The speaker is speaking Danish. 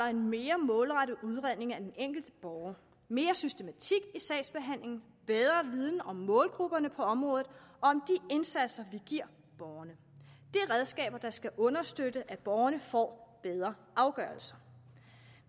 en mere målrettet udredning af den enkelte borger mere systematik i sagsbehandlingen bedre viden om målgrupperne på området og indsatser vi giver borgeren det er redskaber der skal understøtte at borgerne får bedre afgørelser